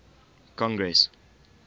congress